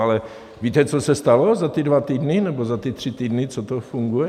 Ale víte, co se stalo za ty dva týdny, nebo za ty tři týdny, co to funguje?